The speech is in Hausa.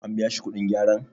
an biya shi kudin gyaran?